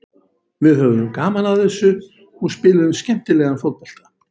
Við höfðum gaman af þessu og spiluðum skemmtilegan fótbolta.